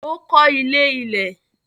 Ó kọ́ ilé ilẹ̀.